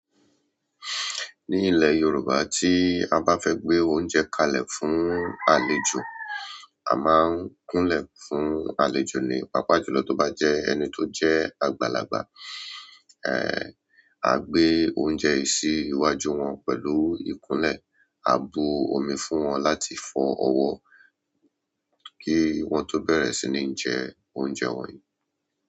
Ní ilẹ̀ Yorùbá, tí a bá fẹ́ gbé oúnjẹ kalẹ̀ fún àlejò, a máa ń kúnlẹ̀ fún àlejò ni. Pápá jù lọ tó bá jẹ́ ẹni tó jẹ́ àgbàlagbà, a gbé oúnjẹ sí iwájú wọn pẹ̀lú ìkúnlẹ̀. A bu omi fún wọn láti fọ ọwọ́ kí wọ́n tó bẹ̀rẹ̀ sí ní jẹ oúnjẹ wọ̀nyí.